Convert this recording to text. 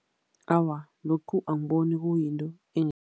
Awa, lokhu angiboni kuyinto